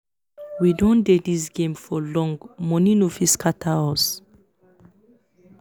we don dey this game for long money no fit scatter us